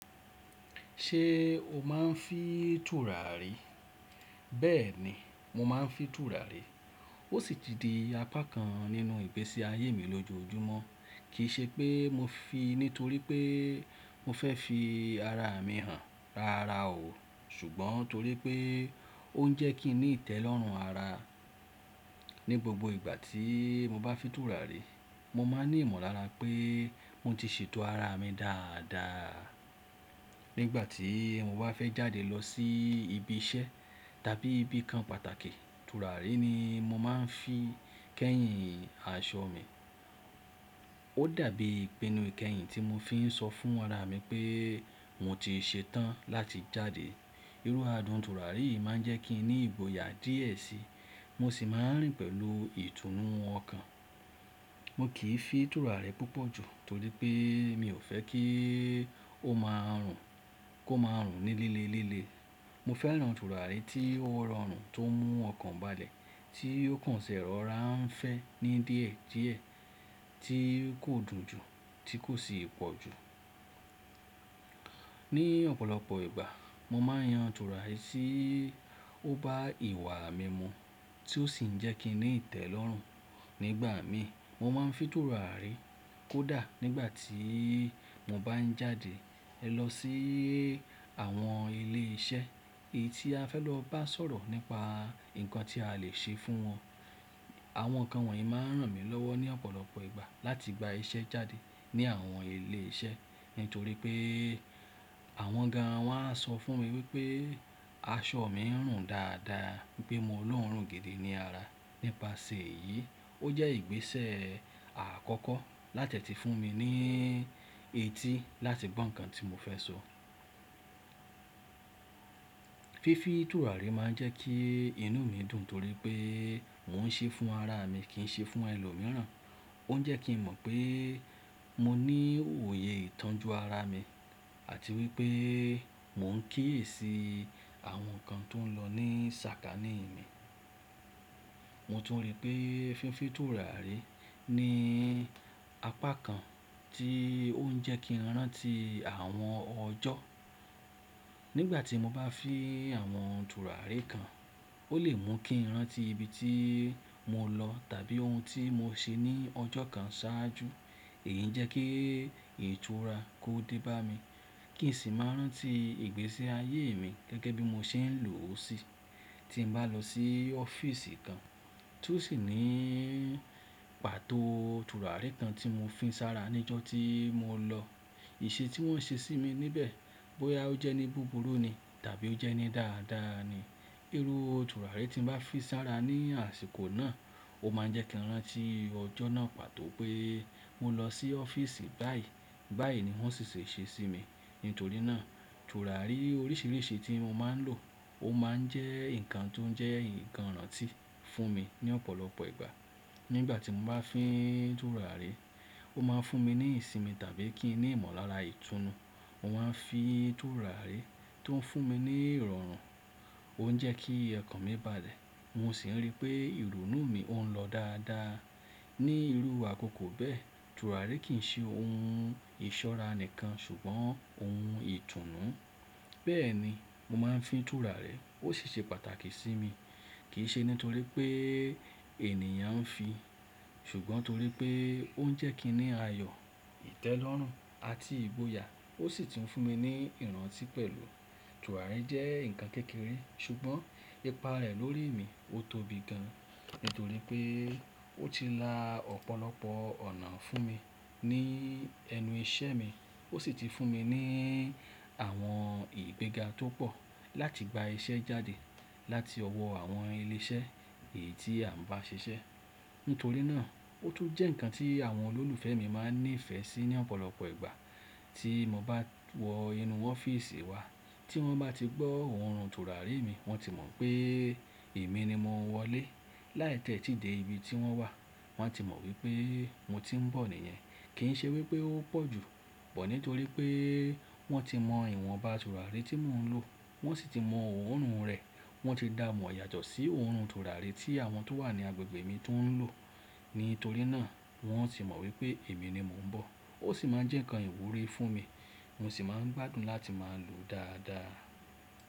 Ṣé o máa ń fi tùràrí? Bẹ́ẹ̀ni, mo máa ń fi tùràrí. Ó sì ti di apá kan nínú ìgbésí ayé mi lójoojúmọ́. Kì í ṣe pé mo fi nítorí pé mo fẹ́ fi ara mi hàn rárá o, ṣùgbọ́n torí pé ó ń jẹ́ kí n ní ìtẹ́lọ́rùn ara. Ni gbogbo ìgbà tí mo bá fi tùràrí, mo máa ní ìmọ̀lára pé mo ti ṣètò ara mi dáadáa. Nígbà tí mo bá fẹ́ jáde lọ sí ibi iṣẹ́ tàbí ibìkan pàtàkì, tùràrí ni mo máa ń fi kẹ́yìn aṣọ mi. Ó dàbí ipinu ìkẹyìn tí mo fi ń sọ fún ara mi pé mo ti ṣetán láti jáde. Irú àádùn tùràrí yìí má ń jẹ́ kí n ní ìgboyà díẹ̀ síi, mo sì máa ń rìn pẹ̀lú ìtùnú ọkàn. Mo kì í fi tùràrí púpọ̀ jù torí pé mi ò fẹ́ kí ó máa rùn, kó máa rùn ní líle líle. Mo fẹ́ràn tùràrí tí ó rọrùn tó mú ọkàn balẹ̀, tí ó kàn ṣẹ̀rọra ń fẹ́ ní díẹ̀ díẹ̀, tí kò dùn jù, tí kò sì pọ̀ jù. Ni ọ̀pọ̀lọpọ̀ ìgbà, mo máa ń yan tùràrí tí ó bá ìwà mi mu tí ó sì ń jẹ́ kí n ní ìtẹ́lọ́rùn. Nígbà mi, mo máa ń fi tùràrí kó dà nígbà tí mo bá ń jáde lọ sí àwọn ilé iṣẹ́ èyí tí a fẹ́ lọ bá sọ̀rọ̀ nípa nǹkan tí a lè ṣe fún wọn. Àwọn kan wọ̀nyí máa ń ràn mí lọ́wọ́ ní ọ̀pọ̀lọpọ̀ ìgbà láti gba iṣẹ́ jáde ní àwọn ilé iṣẹ́ nítorí pé àwọn gan wọ́n á sọ fún mi wípé aṣọ mi ń rùn dáadáa, wípé mo lọ́ọrùn gidi ni ara. Nípasẹ̀ èyí, ó jẹ́ ìgbésẹ̀ àkọ́kọ́ láti ti fún mi ní etí láti gbọ́ nǹkan tí mo fẹ́ sọ. Fífí tùràrí máa ń jẹ́ kí inú mi dùn torí pé mò ń ṣe fún ara mi kì í ṣe fún ẹlòmíràn. Ó ń jẹ́ kí n mọ̀ pé mo ní òye ìtọ́jú ara mi àti wípé mò ń kíyèsi àwọn nǹkan tó ń lọ ní sàkání mi. Mo tún rí pé fífí tùràrí ni apá kan tí ó ń jẹ́ kí n rántí àwọn ọjọ́. Nígbà tí mo bá fi àwọn tùràrí kan, ó lè mú kí n rántí ibi tí mo lọ tàbí ohun tí mo ṣe ní ọjọ́ kan ṣáájú. Èyí ń jẹ́ kí ìtura kó dé bá mi kì n sì máa ń rántí ìgbésí ayé mi gẹ́gẹ́ bí mo ṣe ń lò ó síi. Tí mo bá lọ sí ọ́fíìsì kan tó sì ní pàtó tùràrí kan tí mo fi sára ní ọjọ́ tí mo lọ, ìṣe tí wọ́n ṣe sí mi níbẹ̀ bóyá ó jẹ́ ní búburú ni tàbí ó jẹ́ ní dáadáa ni, irú tùràrí tí mo bá fi sára ní àsìkò náà, ó máa ń jẹ́ kí n rántí ọjọ́ náà pàtó pé mo lọ sí ọ́fíìsì báyìí, báyìí ni wọ́n ṣì ṣe ṣe sí mi. Nítorí náà, tùràrí oríṣiríṣi tí mo máa ń lò ó máa ń jẹ́ nǹkan tó ń jẹ́ nǹkan rántí fún mi ní ọ̀pọ̀lọpọ̀ ìgbà. Nígbà tí mo bá fi tùràrí, ó máa ń fún mi ní ìsinmi tàbí kí n ní ìmọ̀lára ìtùnú. Mo máa ń fi tùràrí tó ń fún mi ní ìrọ̀rùn, ó ń jẹ́ kí ẹkàn mi balẹ̀, mo sì ń rí pé ìrònú mi ó ń lọ dáadáa. Ni irú àkókò bẹ́ẹ̀, tùràrí kì í ṣe ohun ìṣọ́ra nìkan ṣùgbọ́n ohun ìtùnú. Bẹ́ẹ̀ ni, mo máa ń fi tùràrí, ó sì ṣe pàtàkì sí mi. Kì í ṣe nítorí pé ènìyàn ń fi, ṣùgbọ́n torí pé ó ń jẹ́ kí n ní ayọ̀, ìtẹ́lọ́rùn àti ìgboyà ó sì ti ń fún mi ní ìrántí pẹ̀lú. Tùràrí jẹ́ nǹkan kékeré ṣùgbọ́n ipa rẹ̀ lórí mi ó tóbi gan nítorí pé ó ti la ọ̀pọ̀lọpọ̀ ọ̀nà fún mi ní ẹnu iṣẹ́ mi. Ó sì ti fún mi ní àwọn ìgbéga tó pọ̀ láti gba iṣẹ́ jáde láti ọwọ́ àwọn ilé iṣẹ́ èyí tí a ń bá ṣiṣẹ́. Nítorí náà, ó tún jẹ́ nǹkan tí àwọn olólùfẹ́ mi máa ń ní ìfẹ́ sí ní ọ̀pọ̀lọpọ̀ ìgbà. Tí mo bá wọ inú ọ́fíìsì wa tí wọ́n bá ti gbọ́ ohùn tùràrí mi, wọ́n ti mọ̀ pé èmi ni mo wọlé. Láì tẹ́ tí dé ibi tí wọ́n wà, wọ́n ti mọ̀ wípé mo ti ń bọ̀ nìyẹn. Kì í ṣe wípé ó pọ̀jù but nítorí pé wọ́n ti mọ ìwọ̀nba tùràrí tí mò ń lò, wọ́n sì ti mọ orun rẹ̀, wọ́n ti dààmú yàtọ̀ sí orùn tùràrí tí àwọn tó wà ní agbègbè mi tó ń lò. Nítorí náà, wọ́n sì mọ̀ wípé èmi ni mo ń bọ̀. Ó sì máa ń jẹ́ nǹkan ìwúrí fún mi, mo sì máa ń gbádùn láti máa lòó dáadáa.